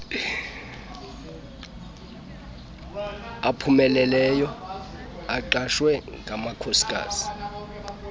aphumeleleyo axhaswe ngamakhosikazi